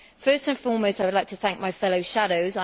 First and foremost, I would like to thank my fellow shadows